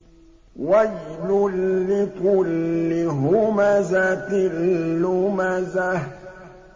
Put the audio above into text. وَيْلٌ لِّكُلِّ هُمَزَةٍ لُّمَزَةٍ